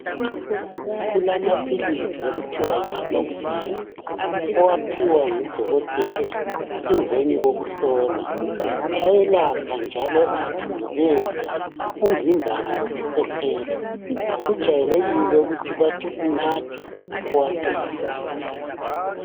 Kulamaphilizi okuthiwa yi amoxicilling owaphiwa ngudokotela emveni kokuhlolwa ayelapha njalo athundubeze umvimbano lokukhwehlela kujayelekile ukuthi bathi unathe uwaqede.